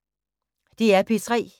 DR P3